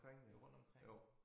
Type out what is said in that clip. Jo rundtomkring